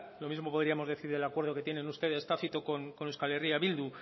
lo mismo podríamos decir del acuerdo que tienen ustedes tácito con euskal herria bildu